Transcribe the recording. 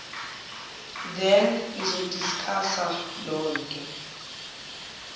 then nizodiskhasa lonto